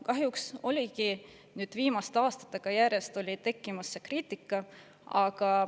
Kahjuks on viimaste aastate jooksul tekkinud järjest kriitikat.